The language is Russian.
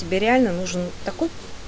тебе реально нужен такой